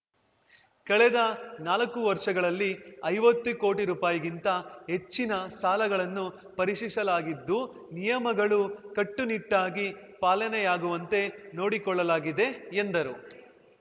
ಕಳೆದ ನಾಲಕ್ಕು ವರ್ಷಗಳಲ್ಲಿ ಐವತ್ತು ಕೋಟಿ ರೂಪಾಯಿಗಿಂತ ಹೆಚ್ಚಿನ ಸಾಲಗಳನ್ನು ಪರಿಶೀಶಿಸಲಾಗಿದ್ದು ನಿಯಮಗಳು ಕಟ್ಟುನಿಟ್ಟಾಗಿ ಪಾಲನೆಯಗುವಂತೆ ನೋಡಿಕೊಳ್ಳಲಾಗಿದೆ ಎಂದರು